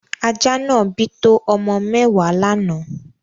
Ajá náà bí to ọmọ mẹ́wàá lánáà.